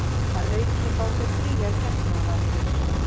Að auki fá þau fríar getnaðarvarnir